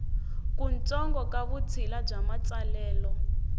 kutsongo ka vutshila bya matsalelo